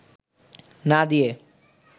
না দিয়ে